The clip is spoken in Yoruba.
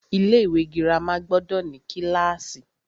Ilé ìwé girama gbọdọ̀ ní kílàsì.